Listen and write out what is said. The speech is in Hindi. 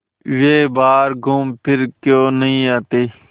वे बाहर घूमफिर क्यों नहीं आते